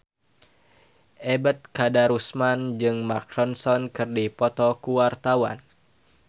Ebet Kadarusman jeung Mark Ronson keur dipoto ku wartawan